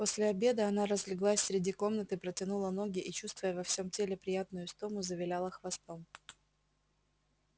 после обеда она разлеглась среди комнаты протянула ноги и чувствуя во всём теле приятную истому завиляла хвостом